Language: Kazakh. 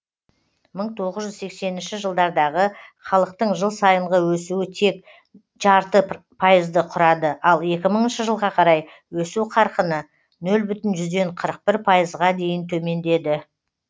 мың тоғыз жүз сексенінші жылдардағы халықтың жыл сайынғы өсуі тек жарты пайызды құрады ал екі мыңыншы жылға қарай өсу қарқыны нөл бүтін жүзден қырық бір пайызға дейін төмендеді